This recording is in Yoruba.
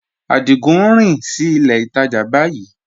Adigun n rìn sí ilẹ̀ ìtajá báyìí